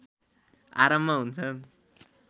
आरम्भ हुन्छन्